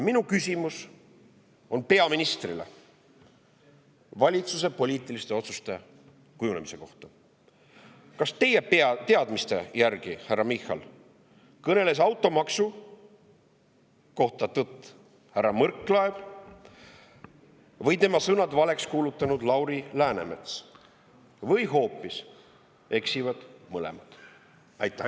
Minu küsimus peaministrile on valitsuse poliitiliste otsuste kujunemise kohta: kas teie teadmiste kohaselt, härra Michal, on automaksu kohta kõnelenud tõtt härra Võrklaev või tema sõnad valeks kuulutanud Lauri Läänemets või eksivad hoopis mõlemad?